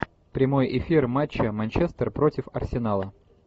прямой эфир матча манчестер против арсенала